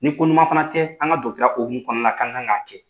Ni koɲuman fana tɛ an ka hokumu kɔnɔna na ka n ka kan' kɛ